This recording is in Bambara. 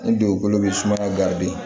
Ni dugukolo bɛ sumaya